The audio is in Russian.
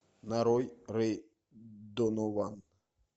нарой рэй донован